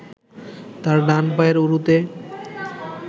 তার ডান পায়ের উরুতে